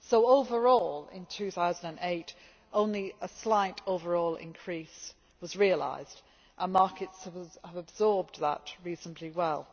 So, overall in 2008, only a slight overall increase was realised and markets have absorbed that reasonably well.